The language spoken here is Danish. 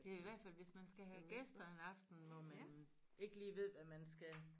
Det i hvert fald hvis man skal have gæster en aften hvor man ikke lige ved hvad man skal